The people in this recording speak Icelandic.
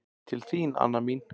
Til þín, Anna mín.